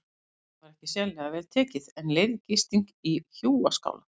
Honum var ekki sérlega vel tekið en leyfð gisting í hjúaskála.